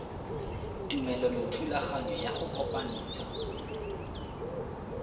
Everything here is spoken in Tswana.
tumelelo thulaganyo ya go kopantsha